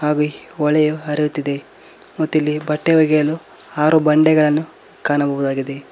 ಹಾಗು ಈ ಹೊಳೆಯು ಹರಿಯುತ್ತಿದೆ ಮತ್ತಿಲ್ಲಿ ಬಟ್ಟೆ ಹೊಗೆಯಲು ಆರು ಬಂಡೆಗಳನ್ನು ಕಾಣಬಹುದಾಗಿದೆ.